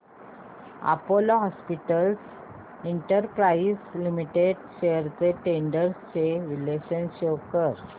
Apollo hospitals enterprise limited shares trends चे विश्लेषण show कर